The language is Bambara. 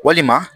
Walima